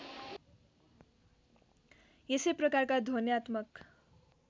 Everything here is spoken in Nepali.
यसै प्रकारका ध्वन्यात्मक